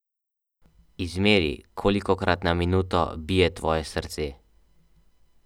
Izmeri, kolikokrat na minuto bije tvoje srce.